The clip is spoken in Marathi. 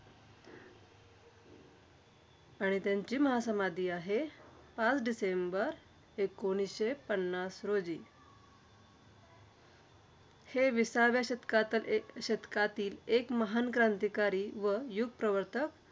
आणि त्यांची महासमाधी आहे, पाच डिसेंबर एकोणवीसशे पन्नास रोजी. हे विसाव्या शतकात एक शतकातील एक महान क्रांतिकारी व युगप्रवर्तक,